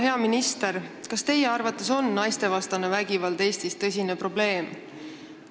Hea minister, kas teie arvates on naistevastane vägivald Eestis tõsine probleem?